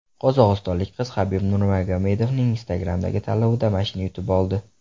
Qozog‘istonlik qiz Habib Nurmagomedovning Instagram’dagi tanlovida mashina yutib oldi.